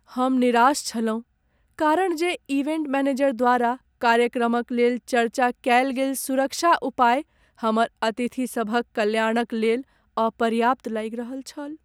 हम निराश छलहुँ कारण जे इवेंट मैनेजर द्वारा कार्यक्रमक लेल चर्चा कएल गेल सुरक्षा उपाय हमर अतिथिसभक कल्याणक लेल अपर्याप्त लागि रहल छल।